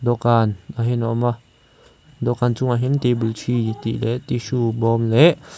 dawhkan ah hian a awma dawhkan chungah hian table three tih leh tissue bawm leh--